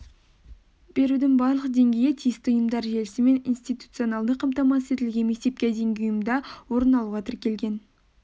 берудің барлық деңгейі тиісті ұйымдар желісімен институционалды қамтамасыз етілген мектепке дейінгі ұйымда орын алуға тіркелген